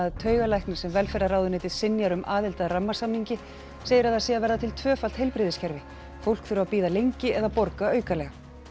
taugalæknir sem velferðarráðuneytið synjar um aðild að rammasamningi segir að það sé að verða til tvöfalt heilbrigðiskerfi fólk þurfi að bíða lengi eða borga aukalega